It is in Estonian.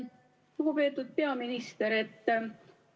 Lugupeetud peaminister!